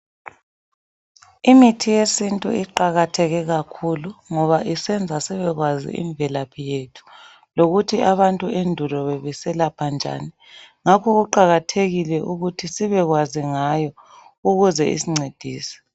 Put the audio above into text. Imithi yesintu iqakatheke kakhulu ngoba isenza sibekwazi imvelaphi yethu lokuthi abantu endulo bebeselapha njani. Ngakho kuqakathekile ukuthi sibekwazi ngayo ukuze isncedise.